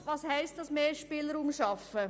Was heisst es, mehr Spielraum zu schaffen?